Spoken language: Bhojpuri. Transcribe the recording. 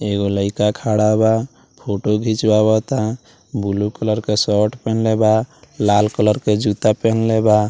एगो लईका खड़ा बा फोटो घिचवावता ब्लू कलर के शर्ट पहनले बा लाल कलर के जूता पेहेनले बा।